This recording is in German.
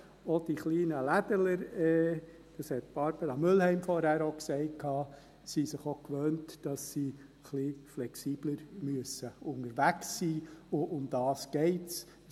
Auch die kleinen Ladenbesitzer – das hat Barbara Mühlheim vorhin auch gesagt – sind sich gewöhnt, dass sie ein wenig flexibler unterwegs sein müssen, und darum geht es.